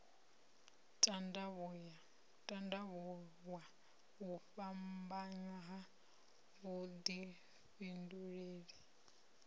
tandavhuwa u fhambanya ha vhudifhinduleli